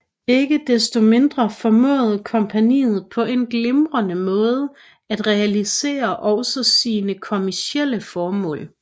Ikke desto mindre formåede kompagniet på en glimrende måde at realisere også sine kommercielle formål